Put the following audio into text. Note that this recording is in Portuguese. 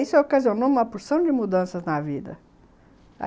Isso ocasionou uma porção de mudanças na vida.